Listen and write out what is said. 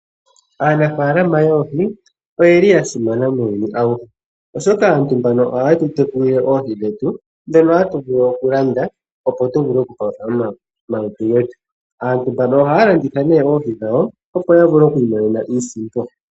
Aanafaalama yoohi oyeli ya simana muuyuni awuhe ,oshoka aantu mbano oha yetu tekulile oohi dhetu ndhono hatu vulu okulanda opo tuvule oku palutha omalutu getu. Aantu mbano ohaya landitha nee oohi dhawo opo yavule oku imonena iisimpo.